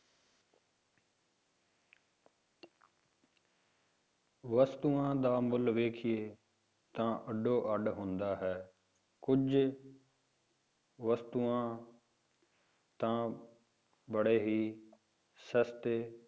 ਵਸਤੂਆਂ ਦਾ ਮੁੱਲ ਵੇਖੀਏ ਤਾਂ ਅੱਡੋ ਅੱਡ ਹੁੰਦਾ ਹੈ ਕੁੱਝ ਵਸਤੂਆਂ ਤਾਂ ਬੜੇ ਹੀ ਸਸਤੇ